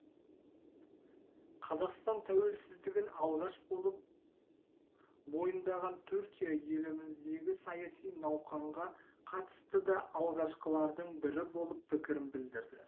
қазақстан тәуелсіздігін алғаш болып мойындаған түркия еліміздегі саяси науқанға қатысты да алғашқылардың бірі болып пікірін білдірді